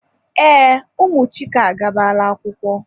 Ee, ụmụ Chike agabala akwụkwọ.